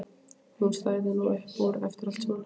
Hún stæði nú upp úr eftir allt saman.